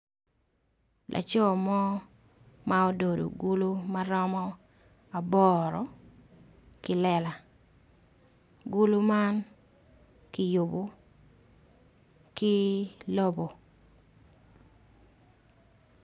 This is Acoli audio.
Laco mo ma ododo gulu maromo aboro ki lela gulu man ki yobo ki lobo.